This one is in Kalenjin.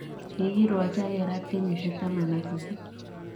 Kikirwokyi ak kerat kenyisiek 18.